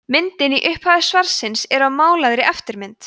myndin í upphafi svarsins er af málaðri eftirmynd